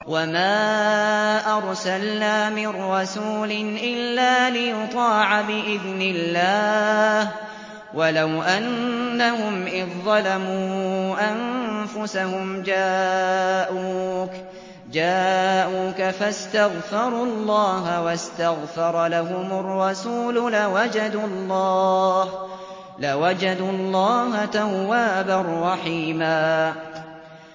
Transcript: وَمَا أَرْسَلْنَا مِن رَّسُولٍ إِلَّا لِيُطَاعَ بِإِذْنِ اللَّهِ ۚ وَلَوْ أَنَّهُمْ إِذ ظَّلَمُوا أَنفُسَهُمْ جَاءُوكَ فَاسْتَغْفَرُوا اللَّهَ وَاسْتَغْفَرَ لَهُمُ الرَّسُولُ لَوَجَدُوا اللَّهَ تَوَّابًا رَّحِيمًا